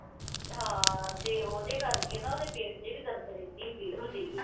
ਹਾਂ ਤੇ ਉਹਦੇ ਕਰਕੇ ਨਾ, ਉਹਦੇ ਪੇਟ ਚ ਵੀ ਦਰਦ ਰਹਿੰਦੀ ਸੀ, ਪੀੜ ਹੁੰਦੀ ਸੀ।